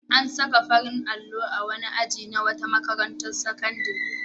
An saka farin allo a wani aji na wata makarantar sakandare.